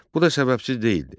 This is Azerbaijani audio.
Bu da səbəbsiz deyildi.